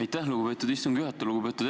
Aitäh, lugupeetud istungi juhataja!